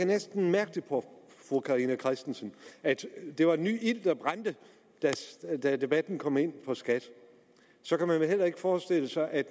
næsten mærke på fru carina christensen at det var en ny ild der brændte da debatten kom ind på skat så kan man vel heller ikke forestille sig at